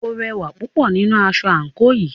O rẹwà púpọ̀ nínú aṣọ àńkò yìí.